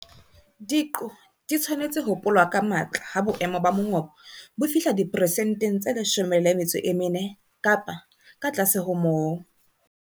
Diqo di tshwanetse ho polwa ka matla ha boemo ba mongobo bo fihla diperesenteng tse 14 kapa ka tlase ho moo.